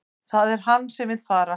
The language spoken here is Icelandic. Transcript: Það er hann sem vill fara